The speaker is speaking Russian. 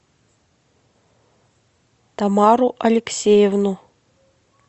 тамару алексеевну